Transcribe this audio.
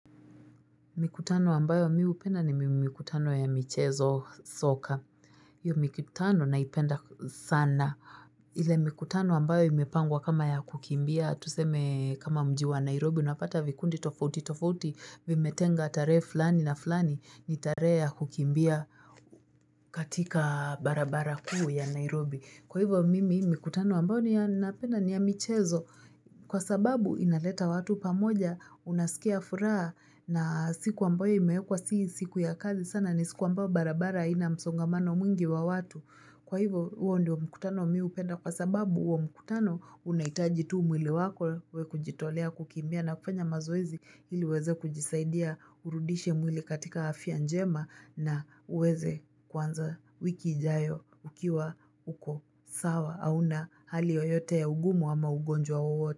Mikutano ambayo mi hupenda ni mikutano ya michezo soka. Hiyo mikutano naipenda sana. Ile mikutano ambayo imepangwa kama ya kukimbia. Tuseme kama mji wa Nairobi unapata vikundi tofauti tofauti. Vimetenga tarehe flani na flani ni tarehe ya kukimbia katika barabara kuu ya Nairobi. Kwa hivyo mimi mikutano ambayo ninapenda ni ya michezo. Kwa sababu inaleta watu pamoja unasikia furaha na siku ambayo imewekwa si siku ya kazi sana ni siku ambayo barabara haina msongamano mwingi wa watu. Kwa hivo huo ndio mkutano mi hupenda kwa sababu huo mkutano unahitaji tu mwili wako we kujitolea kukimbia na kufanya mazoezi ili uweze kujisaidia urudishe mwili katika afya njema na uweze kuanza wiki ijayo ukiwa uko sawa. Hauna hali yoyote ya ugumu ama ugonjwa wowote.